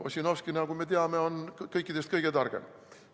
Ossinovski, nagu me teame, on kõikidest kõige targem.